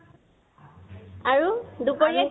আৰু, দুপৰীয়া